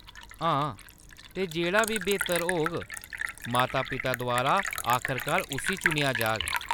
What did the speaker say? हां, ते जेह्‌‌ड़ा बी बेह्‌तर होग, माता-पिता द्वारा आखरकार उस्सी चुनेआ जाग।